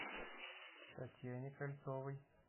татьяне кольцовой